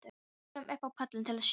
Og við fórum upp á pallinn til að sjá.